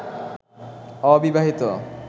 অবিবাহিত